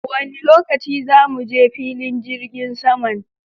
Wani lokaci za muje filin jirgin saman?